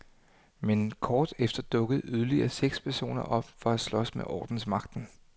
Men kort efter dukkede yderligere seks personer op for at slås med ordensmagten.